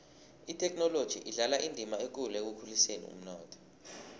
ithekhinoloji idlala indima ekulu ekukhuliseni umnotho